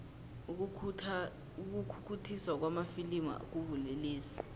ukukhukhuthiswa kwamafilimu kubulelesi